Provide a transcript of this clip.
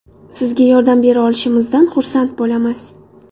Sizga yordam bera olishimizdan xursand bo‘lamiz.